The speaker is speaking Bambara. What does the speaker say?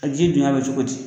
A ji dunya bɛ cogo di?